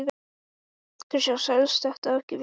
Er öldurnar að lægja í kringum félagið?